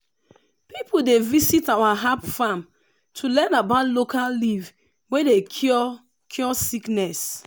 people dey visit our herb farm to learn about local leaf wey dey cure cure sickness.